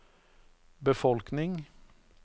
befolkning